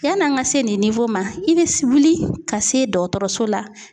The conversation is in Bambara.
Yann'an ka se nin ma i bɛ wuli ka se dɔgɔtɔrɔso la